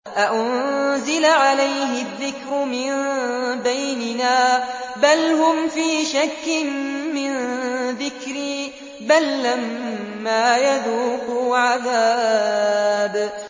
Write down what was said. أَأُنزِلَ عَلَيْهِ الذِّكْرُ مِن بَيْنِنَا ۚ بَلْ هُمْ فِي شَكٍّ مِّن ذِكْرِي ۖ بَل لَّمَّا يَذُوقُوا عَذَابِ